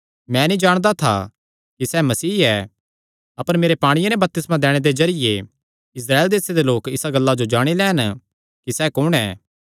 मैं नीं जाणदा था कि सैह़ मसीह ऐ अपर मेरे पांणिये नैं बपतिस्मा दैणे दे जरिये इस्राएल देसे दे लोक इसा गल्ला जो जाणी लैन कि सैह़ कुण ऐ